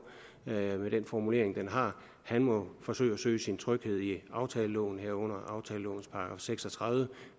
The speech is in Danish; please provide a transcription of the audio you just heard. med den formulering den har han må forsøge at søge sin tryghed i aftaleloven herunder aftalelovens § seks og tredive